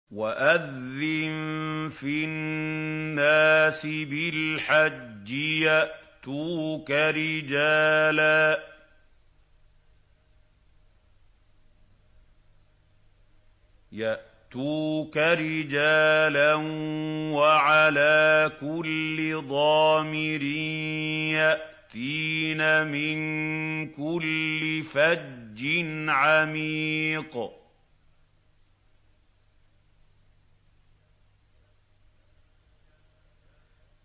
وَأَذِّن فِي النَّاسِ بِالْحَجِّ يَأْتُوكَ رِجَالًا وَعَلَىٰ كُلِّ ضَامِرٍ يَأْتِينَ مِن كُلِّ فَجٍّ عَمِيقٍ